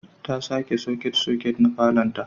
ta sake soket-soket na falonta.